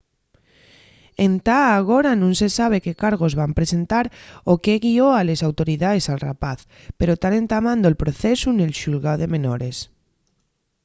entá agora nun se sabe qué cargos van presentar o qué guió a les autoridaes al rapaz pero tán entamando'l procesu nel xulgáu de menores